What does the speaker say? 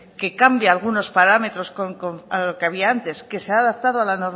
que cambia algunos parámetros que había antes que se ha adaptado a la